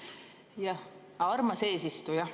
Jah, armas eesistuja.